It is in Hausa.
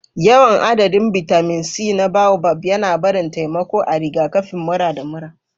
Yawan adadin bitamin C na boabab yana barin taimako a rigakafin mura da mura.